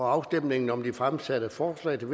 afstemning om de fremsatte forslag til